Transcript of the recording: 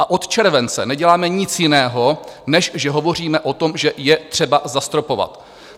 A od července neděláme nic jiného, než že hovoříme o tom, že je třeba zastropovat.